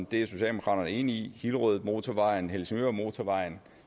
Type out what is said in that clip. det er socialdemokraterne enige i hillerødmotorvejen helsingørmotorvejen